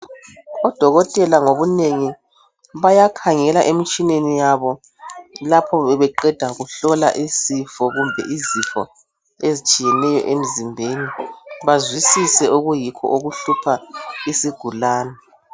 Odokotela ngobunengi bayakhangela emtshineni yabo lapho bebebeqeda kuhlola isifo kumbe izifo ezitshiyeneyo emzimbeni bazwisise okuyikho okuhlupha isigulani.